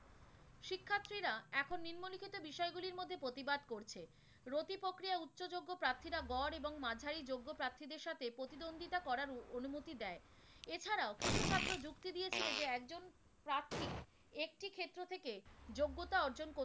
প্রতিবাদ করছে। রতিপক্ষিরা উচ্চযোগ্য প্রার্থীরা গড় এবং মাঝারি যোগ্য প্রার্থীদের সাথে প্রতিদ্বন্দ্বিতা করার অনুমতি দেয়। এছাড়াও কিছু ছাত্র যুক্তি দিয়েছিল যে একজন প্রার্থী একটি ক্ষেত্র থেকে যোগ্যতা অর্জন